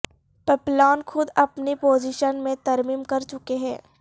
پپلان خود اپنی پوزیشن میں ترمیم کر چکے ہیں